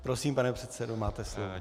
Prosím, pane předsedo, máte slovo.